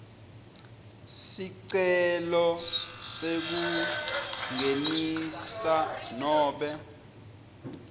sicelo sekungenisa nobe